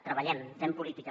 treballem fem política